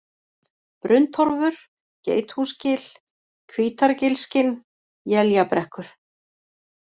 Brunntorfur, Geithúsgil, Hvítargilskinn, Éljabrekkur